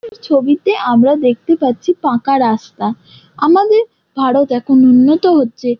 এই ছবিতে আমরা দেখতে পারছি পাকা রাস্তা। আমাদের ভারত এখন উন্নত হচ্চে ।